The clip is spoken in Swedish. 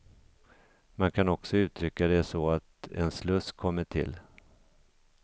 Man kan också uttrycka det så att en sluss kommit till.